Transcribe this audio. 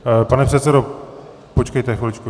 Pane předsedo, počkejte chviličku.